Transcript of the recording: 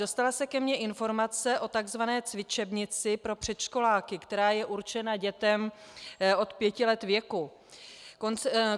Dostala se ke mně informace o tzv. cvičebnici pro předškoláky, která je určena dětem od pěti let věku.